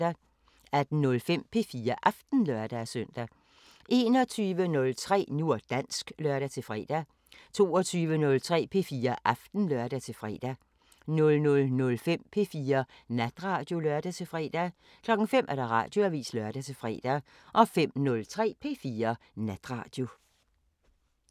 18:05: P4 Aften (lør-søn) 21:03: Nu og dansk (lør-fre) 22:03: P4 Aften (lør-fre) 00:05: P4 Natradio (lør-fre) 05:00: Radioavisen (lør-fre) 05:03: P4 Natradio